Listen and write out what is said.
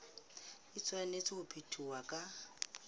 e tshwanetse ho phethwa ka